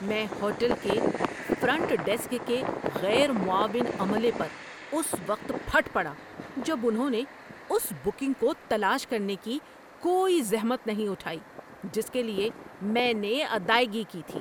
میں ہوٹل کے front desk کے غیر معاون عملے پر اس وقت پھٹ پڑا جب انہوں نے اس بکنگ کو تلاش کرنے کی کوئی زحمت نہیں اٹھائی جس کے لیے میں نے ادائیگی کی تھی۔